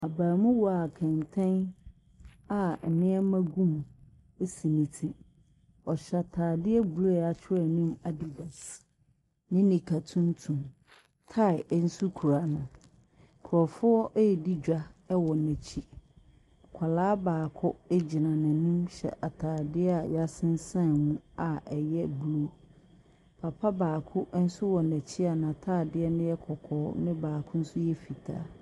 Abaamuwa a kɛntɛn a nnneɛma gu mu si ne ti. Ɔhyɛ ataadeɛ blue a yɛakyerɛw anim addidas ne nika tuntum. Tae nso kura no. Nkrɔfoɔ redi dwa wɔ n'akyi. Akwaraa baako gyina n'anim hyɛ ataadeɛ a yɛasensan mu a ɛyɛ blue. Papa baako nso wɔ n'akyi a na taade no yɛ kɔkɔɔɔ na baako nso yɛ fitaa.